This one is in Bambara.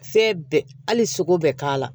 Fɛn bɛɛ hali sogo bɛɛ k'a la